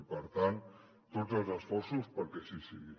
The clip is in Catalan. i per tant tots els esforços perquè així sigui